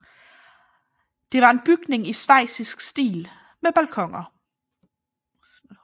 Det var en en bygning i Schweizisk stil med balkoner